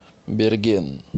берген